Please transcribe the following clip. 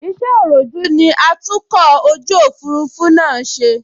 Iṣẹ́ òròjú ní atúnkọ̀ ojú òfurufú ṣe náà ṣe